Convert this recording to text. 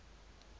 ho isa ho tse nne